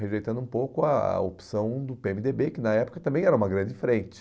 Rejeitando um pouco a opção do pê eme dê bê, que na época também era uma grande frente.